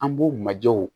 An b'u majɛw